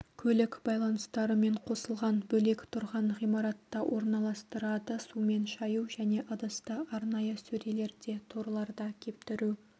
көлік байланыстарымен қосылған бөлек тұрған ғимаратта орналастырады сумен шаю және ыдысты арнайы сөрелерде торларда кептіру